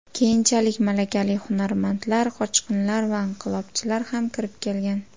Keyinchalik malakali hunarmandlar, qochqinlar va inqilobchilar ham kirib kelgan.